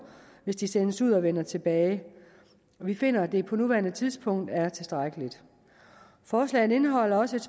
hvis de sendes ud og vender tilbage og vi finder at det på nuværende tidspunkt er tilstrækkeligt forslaget indeholder også et